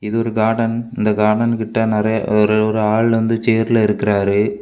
இது ஒரு கார்டன் இந்த கார்டன் கிட்ட நெறைய ஒரு ஒரு ஆள் வந்து ச்செர்ல இருக்காரு.